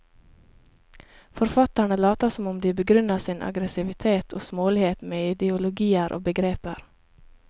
Forfatterne later som om de begrunner sin aggressivitet og smålighet med ideologier og begreper.